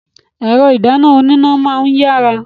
Ẹ̀rọ ìdáná oníná máa ń yára.